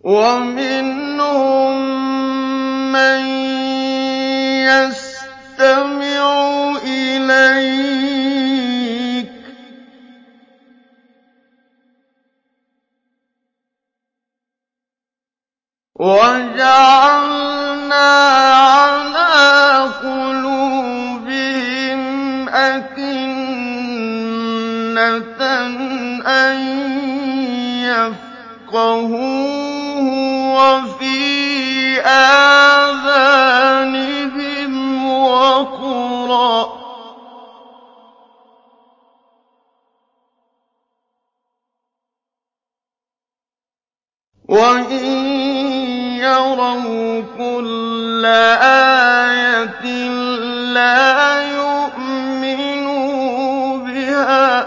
وَمِنْهُم مَّن يَسْتَمِعُ إِلَيْكَ ۖ وَجَعَلْنَا عَلَىٰ قُلُوبِهِمْ أَكِنَّةً أَن يَفْقَهُوهُ وَفِي آذَانِهِمْ وَقْرًا ۚ وَإِن يَرَوْا كُلَّ آيَةٍ لَّا يُؤْمِنُوا بِهَا ۚ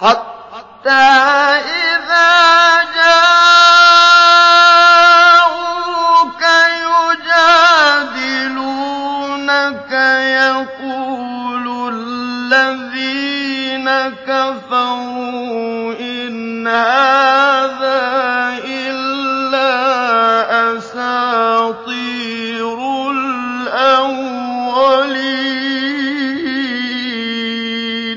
حَتَّىٰ إِذَا جَاءُوكَ يُجَادِلُونَكَ يَقُولُ الَّذِينَ كَفَرُوا إِنْ هَٰذَا إِلَّا أَسَاطِيرُ الْأَوَّلِينَ